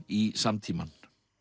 í samtímann